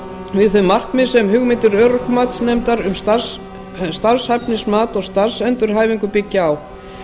við þau markmið sem hugmyndir örorkumatsnefndar um starfshæfnismat og starfsendurhæfingu byggja á